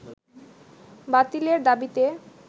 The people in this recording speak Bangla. বাতিলের দাবিতে